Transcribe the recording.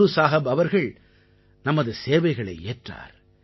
குரு சாஹப் அவர்கள் நமது சேவைகளை ஏற்றார்